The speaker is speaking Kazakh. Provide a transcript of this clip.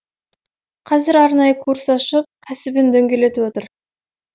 қазір арнайы курс ашып кәсібін дөңгелетіп отыр